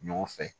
Ɲɔgɔn fɛ